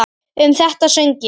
Um þetta söng ég